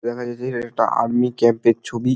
দেখা যাচ্ছে এটা একটা আর্মি ক্যাম্প -এর ছবি।